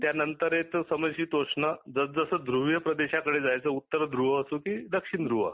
त्यानंतर येत समशितोष्ण जसजस ध्रुवीय प्रदेशाकडे जायचे उत्त ध्रुव असो की दक्षिण ध्रुव